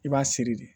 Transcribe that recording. I b'a seri de